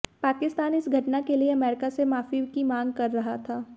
पाकिस्तान इस घटना के लिए अमेरिका से माफी की मांग कर रहा था